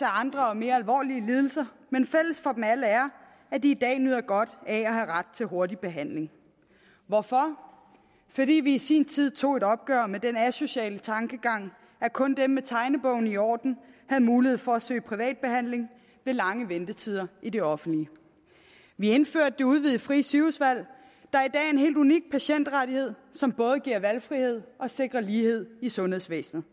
andre og mere alvorlige lidelser men fælles for dem alle er at de i dag nyder godt af at have ret til hurtig behandling hvorfor fordi vi i sin tid tog et opgør med den asociale tankegang at kun dem med tegnebogen i orden havde mulighed for at søge privat behandling ved lange ventetider i det offentlige vi indførte det udvidede frie sygehusvalg der i dag er en helt unik patientrettighed som både giver valgfrihed og sikrer lighed i sundhedsvæsenet